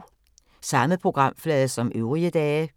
Samme programflade som øvrige dage